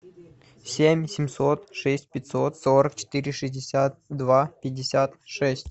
семь семьсот шесть пятьсот сорок четыре шестьдесят два пятьдесят шесть